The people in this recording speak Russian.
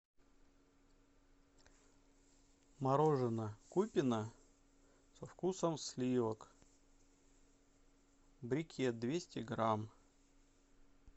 мороженое купино со вкусом сливок брикет двести грамм